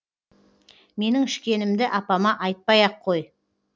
менің ішкенімді апама айтпай ақ қой